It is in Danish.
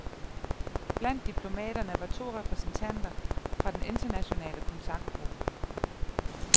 Blandt diplomaterne var to repræsentanter fra den internationale kontaktgruppe.